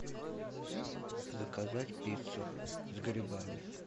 заказать пиццу с грибами